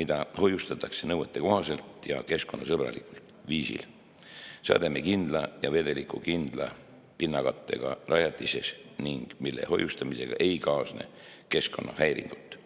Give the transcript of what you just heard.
mida hoiustatakse nõuetekohaselt ja keskkonnasõbralikul viisil sademekindla ja vedelikukindla pinnakattega rajatises ning mille hoiustamisega ei kaasne keskkonnahäiringut.